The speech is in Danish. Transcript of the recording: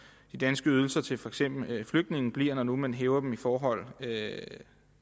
de danske ydelser til for eksempel flygtninge bliver når nu man hæver dem i forhold